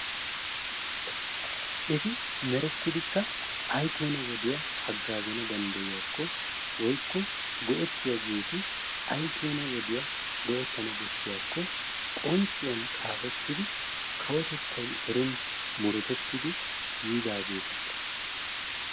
Eti merettidikka ayikeena wodiya hagaazana dandayiyaako woyikko go'etiyaageeti ayikeena wodiya go'ettan bessiyaako qonciyan xaafetidi kawotettay erin murutetidi yiidaageeta.